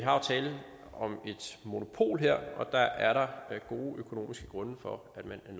tale om et monopol her og der er der gode økonomiske grunde for at man